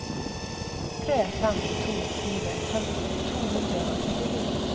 tre fem to fire femti to hundre og trettini